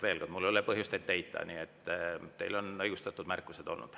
Veel kord, mul ei ole põhjust ette heita, teil on õigustatud märkused olnud.